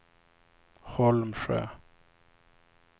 Holmsjö